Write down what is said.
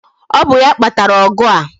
Ọ bụ ya kpatara ọgụ a